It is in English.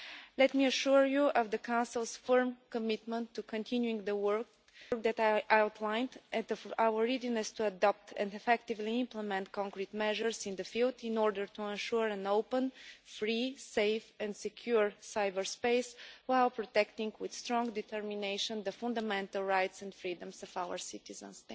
Let me assure you of the Council's firm commitment to continuing the work that I have outlined and our readiness to adopt and effectively implement concrete measures in the field in order to ensure an open, free, safe and secure cyberspace while protecting with strong determination the fundamental rights and freedoms of our citizens.